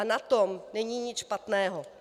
A na tom není nic špatného.